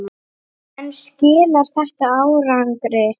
En skilar þetta árangri?